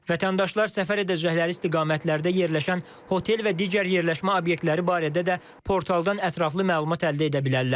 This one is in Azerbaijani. Vətəndaşlar səfər edəcəkləri istiqamətlərdə yerləşən hotel və digər yerləşmə obyektləri barədə də portaldan ətraflı məlumat əldə edə bilərlər.